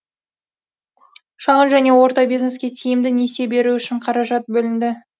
шағын және орта бизнеске тиімді несие беру үшін қаражат бөлінді